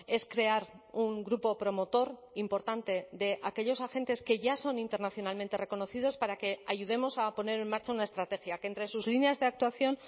es crear un grupo promotor importante de aquellos agentes que ya son internacionalmente reconocidos para que ayudemos a poner en marcha una estrategia que entre sus líneas de actuación